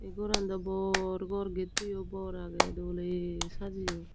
eye goran dow bor gor get towow bor aagay dolay sajaone.